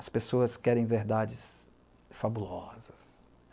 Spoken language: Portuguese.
As pessoas querem verdades fabulosas.